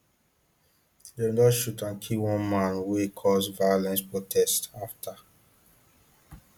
dem don shoot and kill one man wey cause violent protests afta